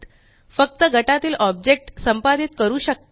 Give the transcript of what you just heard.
फक्त गटातील ऑब्जेक्ट संपादित करू शकता